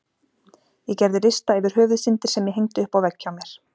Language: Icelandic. Ég gerði lista yfir Höfuðsyndir sem ég hengdi upp á vegg hjá mér.